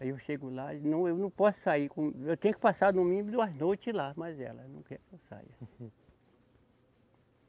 Aí eu chego lá, eu não, eu não posso sair com, eu tenho que passar no mínimo duas noites lá mais ela, não quer que eu saia.